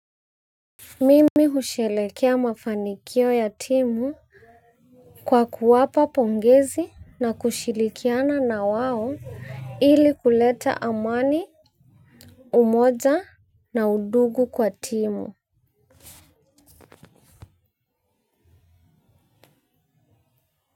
Mimi husherekea mafanikio ya timu kwa kuwapa pongezi na kushirikiana na wao ili kuleta amani umoja na undugu kwa timu.